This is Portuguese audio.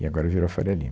E agora virou a Faria Lima.